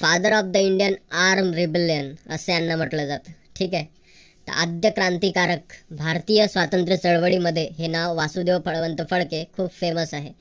father of the indian arm rebellion असे यांना म्हटलं जातं. ठीक आहे. आद्य क्रांतिकारक भारतीय स्वातंत्र्य चळवळी मध्ये हे नाव वासुदेव बळवंत फडके खूप famous आहे.